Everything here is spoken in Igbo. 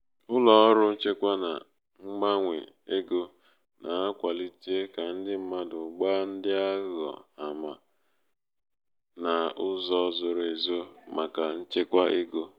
ụlọ ọrụ nchekwa na mgbanwe ego na-akwalite ka ndi mmadụ gbaa ndi aghụghọ ama ndi aghụghọ ama n'uzo zoro ezo maka nchekwa ego.